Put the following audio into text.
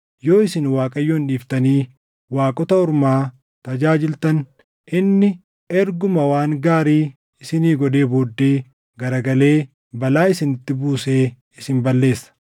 Yoo isin Waaqayyoon dhiiftanii waaqota ormaa tajaajiltan, inni erguma waan gaarii isinii godhee booddee garagalee balaa isinitti buusee isin balleessa.”